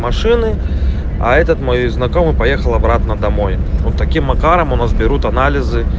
машины а этот мой знакомый поехал обратно домой вот таким макаром у нас берут анализы